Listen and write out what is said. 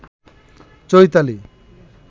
Chaitali